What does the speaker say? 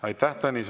Aitäh!